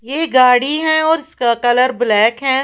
ये गाड़ी है और इसका कलर ब्लैक है ।